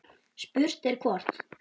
Spurt er hvort